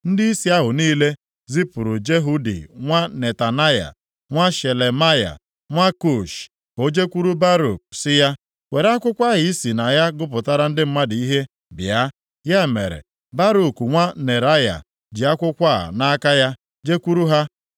ndịisi ahụ niile zipụrụ Jehudi nwa Netanaya, nwa Shelemaya, nwa Kushi, ka o jekwuru Baruk sị ya “Were akwụkwọ ahụ ị si na ya gụpụtara ndị mmadụ ihe, bịa.” Ya mere, Baruk, nwa Neraya, ji akwụkwọ a nʼaka ya jekwuru ha.